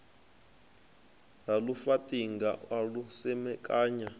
ha lufaṱinga a lu semekanya